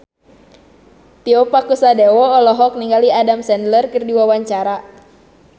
Tio Pakusadewo olohok ningali Adam Sandler keur diwawancara